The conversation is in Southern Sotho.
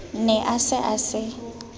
ne a se a se